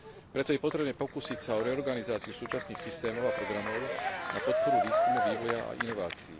Preto je potrebné pokúsiť sa o reorganizáciu súčasných systémov a programov na podporu výskumu, vývoja a inovácií.